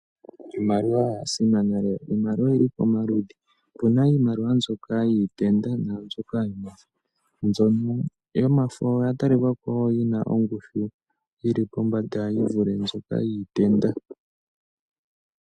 Iimaliwa oya simana lela, iimaliwa oyili pomaludhi opuna iimaliwa mbyoka yitenda nambyoka yomafo. Mbyono yomafo oyo ya talikako oyo yina ongushu yili pombanda yivule mbyoka yiitenda.